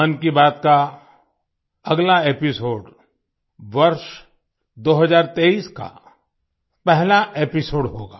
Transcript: मन की बात का अगला एपिसोड वर्ष 2023 का पहला एपिसोड होगा